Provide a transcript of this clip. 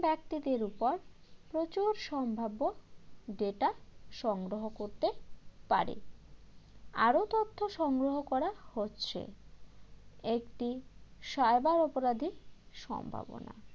ব্যক্তিদের উপর প্রচুর সম্ভাব্য data সংগ্রহ করতে পারে আরও তথ্য সংগ্রহ করা হচ্ছে একটি cyber অপরাধীর সম্ভাবনা